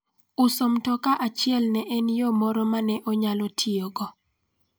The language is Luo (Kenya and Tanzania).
Uso mtoka achiel ne en yo moro ma ne onyalo tiyogo.